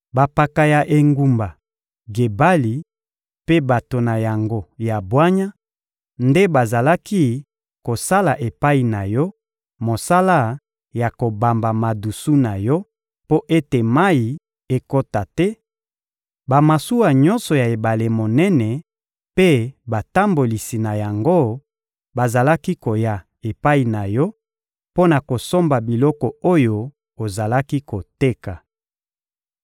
Bampaka ya engumba Gebali mpe bato na yango ya bwanya nde bazalaki kosala epai na yo mosala ya kobamba madusu na yo mpo ete mayi ekota te; bamasuwa nyonso ya ebale monene mpe batambolisi na yango bazalaki koya epai na yo mpo na kosomba biloko oyo ozalaki koteka.